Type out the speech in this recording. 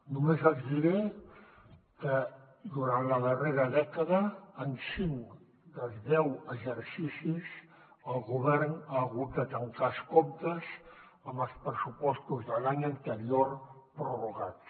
només els diré que durant la darrera dècada en cinc dels deu exercicis el govern ha hagut de tancar els comptes amb els pressupostos de l’any anterior prorrogats